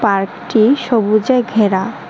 পার্কটি সবুজে ঘেরা।